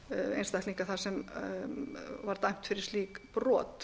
einstaklinga þar sem var dæmt fyrir slík brot